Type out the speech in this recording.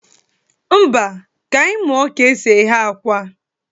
Mba, ka anyị muọ ka e si eghe akwa.